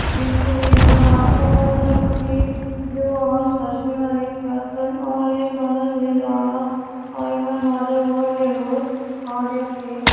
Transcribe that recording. बीचो बिच में बाटू वल अ रू पटी ग्युं और सरसों हरी सब्जी कई टा तुन और ये मजाल ले जारोओ में बाजु बो ली हु और ये खेत।